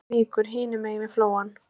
Reykjavíkur hinum megin við Flóann.